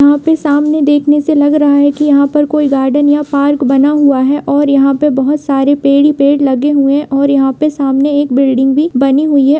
यहाँ पे सामने से देखने से लग रहा है की यहाँ पर कोई गार्डन या पार्क बना हुआ है और यहाँ पे बहुत सारे पेड़ ही पेड़ लगे हुए है और यहाँ पे सामने एक बिल्डिग भी बनी हुई है।